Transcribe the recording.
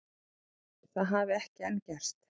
Það hafi ekki enn gerst